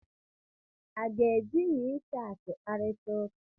A ga-eji WeChat kparịta ụka?